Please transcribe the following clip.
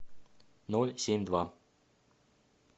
ноль семь два